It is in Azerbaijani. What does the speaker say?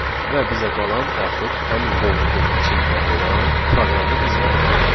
Və bizə qalan artıq həmin qovluğun içində olan proqramı icra etməkdir.